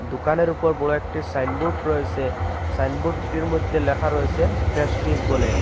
দুকানের উপর বড়ো একটি সাইনবোর্ড রয়েসে সাইনবোর্ডটির মদ্যে লেখা রয়েসে প্রেস্টিজ বলে।